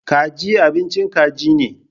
Kaji abincin kaji ne.